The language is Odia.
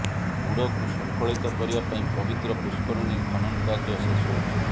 ବୁଡ଼କୁ ଶୃଙ୍ଖଳିତ କରିବା ପାଇଁ ପବିତ୍ର ପୁଷ୍କରଣୀ ଖନନ କାର୍ଯ୍ୟ ଶେଷ ହୋଇଛି